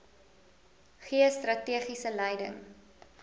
gee strategiese leiding